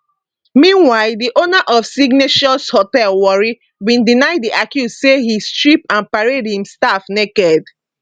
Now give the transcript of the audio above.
meanwhile di owner of signatious hotel warri bin deny di accuse say e strip and parade im staff naked